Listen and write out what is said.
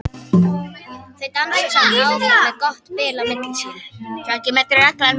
Þau dansa samt áfram með gott bil á milli sín.